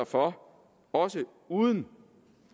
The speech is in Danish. for også uden